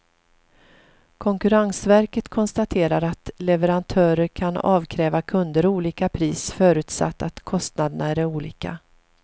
Konkurrensverket konstaterar att leverantörer kan avkräva kunder olika pris förutsatt att kostnaderna är olika.